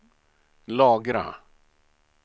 lagra